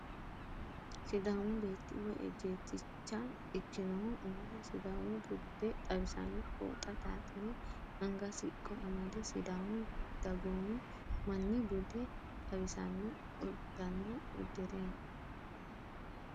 Sidaachu beetti woyi ejjeetticha ikkinohu umoho sidaamu bude xawisanno fooxa xaaxire anga siqqo amade sidaamu dagoomi manni bude xawisanno uddanna uddire no.